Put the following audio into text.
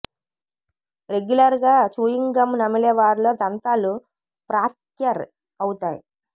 regular గా chewing gum నమిలే వారిలో దంతాలు ఫ్రాక్యర్ అవుతాయి